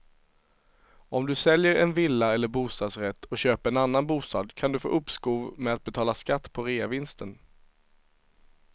Om du säljer en villa eller bostadsrätt och köper en annan bostad kan du få uppskov med att betala skatt på reavinsten.